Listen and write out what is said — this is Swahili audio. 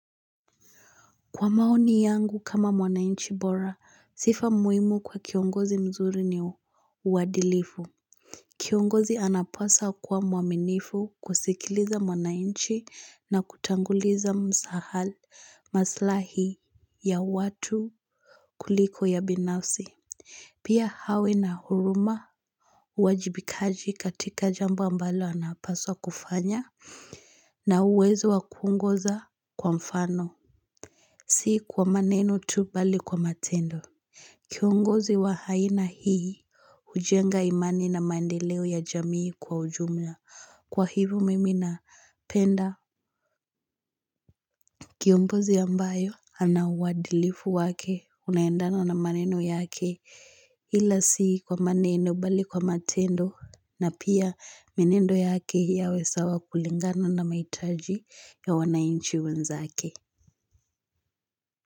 Kwa maoni yangu kama mwananchi bora sifa muhimu kwa kiongozi mzuri ni uadilifu. Kiongozi anapaswa kwa mwaminifu kusikiliza mwanainchi na kutanguliza maslahi ya watu kuliko ya binafsi. Pia awe na huruma uajibikaji katika jambo ambalo anapaswa kufanya na uwezo wa kuongoza kwa mfano. Si kwa maneno tu bali kwa matendo. Kiongozi wa aina hii hujenga imani na mandeleo ya jamii kwa ujumla. Kwa hivyo mimi napenda. Kiongozi ambayo ana uadilifu wake unaendana na maneno yake ila si kwa maneno bali kwa matendo na pia mienendo yake yawe sawa kulingana na mahitaji ya wanainchi wenzake.